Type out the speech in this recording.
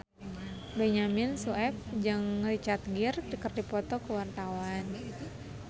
Benyamin Sueb jeung Richard Gere keur dipoto ku wartawan